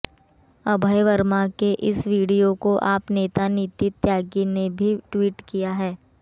अभय वर्मा के इस वीडियो को आप नेता नितिन त्यागी ने भी ट्वीट किया है